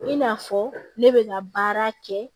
I n'a fɔ ne bɛ ka baara kɛ